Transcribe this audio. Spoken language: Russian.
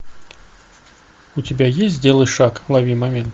у тебя есть сделай шаг лови момент